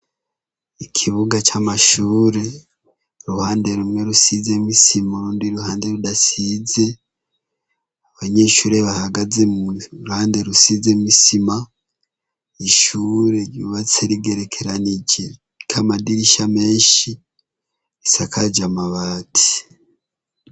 Ikibuga c’amashure, uruhande rumwe rusizemw’ isima urundi ruhande rudasize, abanyeshure bahagaze muruhande rusizemw’isima , ishure ryubatse rigerekeranije, ririkw’amadirisha menshi, risakaj’amabati.